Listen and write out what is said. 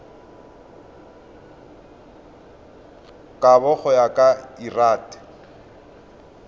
kabo go ya ka lrad